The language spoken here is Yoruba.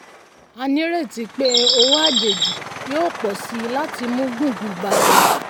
a ní ìrètí pé owó àjèjì yóò pọ̀ síi láti mú gbùngbùn báa lọ.